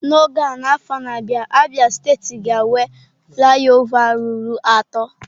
N'oge a n'afọ na-abịa Abia steeti ga-enwe flị ọva ruru atọ.